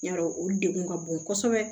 Yarɔ o dekun ka bon kosɛbɛ